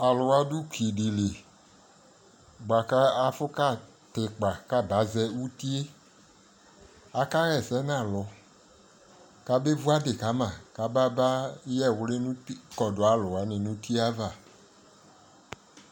alʋ wa du ʋki dili bʋakʋ afʋ kʋ atɛ ikpa kʋ aba zɛ ʋtiɛ, aka yɛsɛ nʋ alʋ kʋ abɛ vʋ adi kama kʋ ababa yɛ ɛwli kɔdʋ alu wani nʋ ʋti aɣa